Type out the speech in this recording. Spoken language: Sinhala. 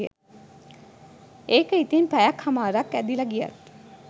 ඒක ඉතින් පැයක් හමාරක් ඇදිල ගියත්